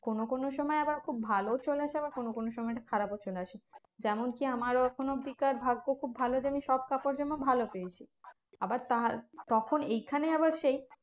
কোনো কোনো সময় আবার খুব ভালো চলে আসে আবার কোনো কোনো সময়টা খারাপও চলে আসে। যেমন কি আমার এখনো অব্দিকার ভাগ্য খুব ভালো যে, আমি সব কাপড়জামা ভালো পেয়েছি। আবার তার তখন এইখানে আবার সেই